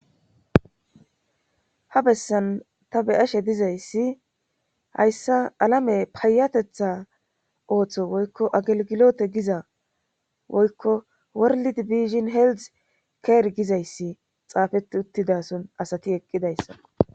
ha bessan ta beyashe dizayssi hayssa alame payatetha ooththo woykko agelgilote giza woykko worli di biishin heeldz keer gizayssi xaafeti uttidason asati eqqidayssa